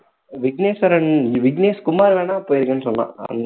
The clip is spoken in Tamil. விக்னேஸ்வரன் விக்னேஷ் குமார் வேணும்னா போயிருக்கேன்னு சொன்னான்